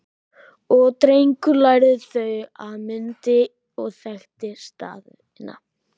Og Drengur lærði þau og mundi og þekkti staðina